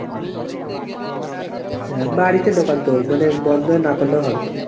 হ্যাঁ বাড়িতে দোকান তো মানে বন্দ না করলেও হবে।